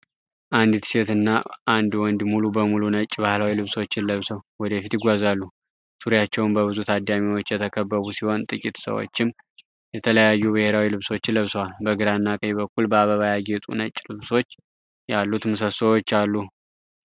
አንዲት ሴት እና አንድ ወንድ ሙሉ በሙሉ ነጭ ባህላዊ ልብሶችን ለብሰው ወደ ፊት ይጓዛሉ። ዙሪያቸውን በብዙ ታዳሚዎች የተከበቡ ሲሆን፣ ጥቂት ሰዎችም የተለያዩ ብሔራዊ ልብሶችን ለብሰዋል። በግራና ቀኝ በኩል በአበባ ያጌጡ ነጭ ልባሶች ያሉት ምሰሶዎች አሉ።